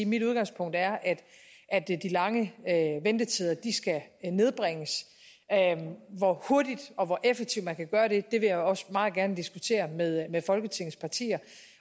mit udgangspunkt er at de lange ventetider skal nedbringes hvor hurtigt og effektivt man kan gøre det vil jeg også meget gerne diskutere med med folketingets partier